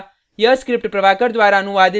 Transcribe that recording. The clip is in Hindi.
आशा करता हूँ कि आपने पर्ल के इस ट्यूटोरियल का आनंद लिया होगा